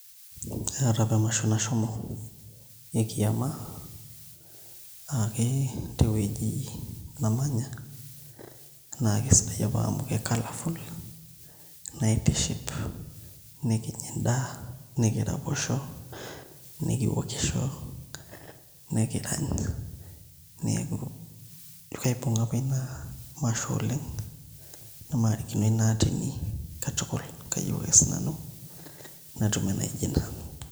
Eeta apa emasho nashomo ekiama aa kee ketii ewueji namanya nakesidai apa amu ke coloufull naitiship nikinya endaa nikiraposho nikiwokisho nikirany neaku ijo kaiponga apa inamasho oleng namarikino inaa atinikatukul kayieu ake sinanu natum enaijo ina.